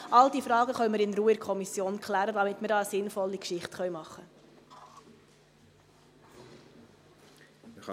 All diese Fragen können wir in Ruhe in der Kommission klären, damit wir da eine sinnvolle Geschichte machen können.